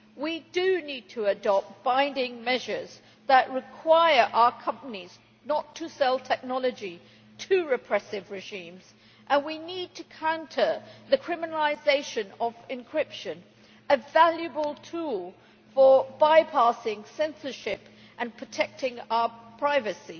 We need to adopt binding measures that require our companies not to sell technology to repressive regimes, and we need to counter the criminalisation of encryption a valuable tool for bypassing censorship and protecting our privacy.